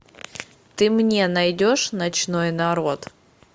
ты мне найдешь ночной народ